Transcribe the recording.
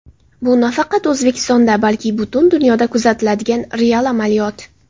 Bu nafaqat O‘zbekistonda, balki butun dunyoda kuzatiladigan real amaliyot.